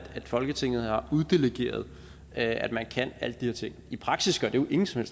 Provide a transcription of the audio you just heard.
folketinget har uddelegeret at man kan alle de her ting i praksis gør det jo ingen som